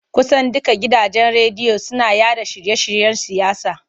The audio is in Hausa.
Kusan dukkan gidajen rediyo suna yaɗa shirye-shiryen siyasa.